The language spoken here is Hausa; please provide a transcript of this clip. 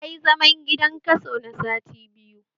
Tayi zaman gidan kaso na sati biyu